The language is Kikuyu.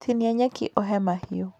Tinia nyeki ũhe mahiũ.